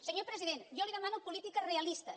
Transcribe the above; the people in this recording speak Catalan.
senyor president jo li demano polítiques realistes